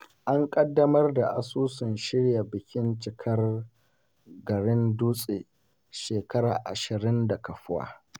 An ƙaddamar da asusun shirya bikin cikar garin Dutse shekara ashirin da kafuwa.